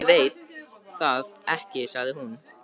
Ég veit það ekki sagði hún.